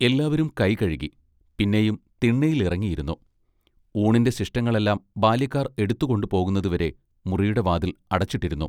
എല്ലാവരും കൈകഴുകി പിന്നെയും തിണ്ണെലിറങ്ങിയിരുന്നു ഊണിന്റെ ശിഷ്ടങ്ങളെല്ലാം ബാല്യക്കാർ എടുത്തുകൊണ്ടുപോകുന്നതുവരെ മുറിയുടെ വാതിൽ അടച്ചിട്ടിരുന്നു.